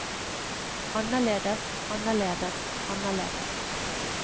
annerledes annerledes annerledes